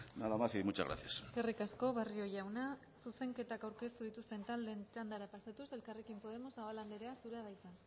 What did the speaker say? nada más y muchas gracias eskerrik asko barrio jauna zuzenketak aurkeztu dituzten taldeen txandara pasatuz elkarrekin podemos zabala andrea zurea da hitza